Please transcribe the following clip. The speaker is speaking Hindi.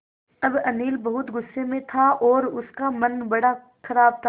अब अनिल बहुत गु़स्से में था और उसका मन बड़ा ख़राब था